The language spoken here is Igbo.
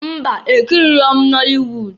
Mba! Ekiriro m nọlị wud.